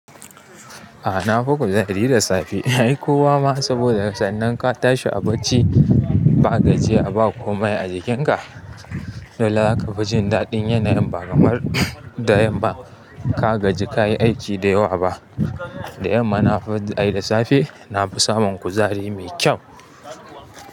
A'a na fi kuzari da safe. Ai kowa ma saboda sannan ka tashi a bacci ba gajya ba komai a jikinka. Dolla aka fi jin daɗin yanayin ba kamar da yamma ka gaji kayi aiki da yawa ba. Da yamma na fi ai da safe na fi samun kuzari mai kyau.